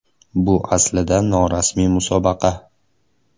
Bu aslida norasmiy musobaqa.